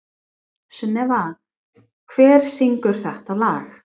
Sunneva, hver syngur þetta lag?